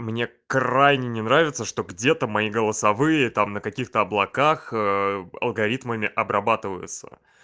мне крайне не нравится что где-то мои голосовые там на каких-то облаках алгоритмами обрабатываются